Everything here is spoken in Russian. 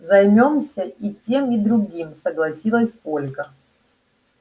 займёмся и тем и другим согласилась ольга